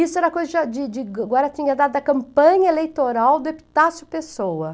Isso era coisa já de de guaratinguetá da campanha eleitoral do Epitácio, pessoa.